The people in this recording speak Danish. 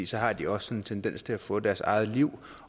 så har de også en tendens til at få deres eget liv